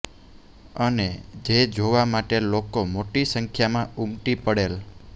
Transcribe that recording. અને જે જોવા માટે લોકો મોટી સંખ્યામાં ઉમટી પડેલ